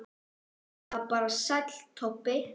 Eða bara Sæll Tobbi?